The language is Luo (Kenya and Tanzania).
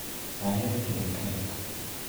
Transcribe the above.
Ahero tedo kek